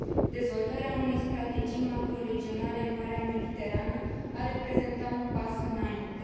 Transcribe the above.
Dezvoltarea unei strategii macroregionale în Marea Mediterană ar reprezenta un pas înainte.